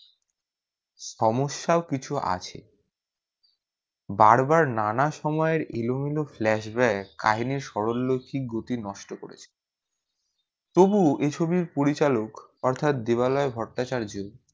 সমস্যাও কিছু আছে বার বার নানা সময়ে ইলু ইলু flashback কাহিনীর সরলরৈখিক গতি নষ্ট করেছে তবুও এই ছবির পরিচালক অর্থাৎ দেবালয় ভট্রাচার্য